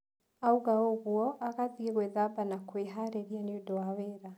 Oiga ũguo, agathiĩ gwĩthamba na kwĩharĩria nĩ ũndũ wa wĩra.